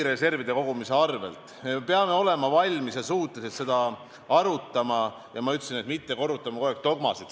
Me peame olema valmis ja suutelised seda arutama, nagu ma ütlesin, mitte korrutama kogu aeg dogmasid.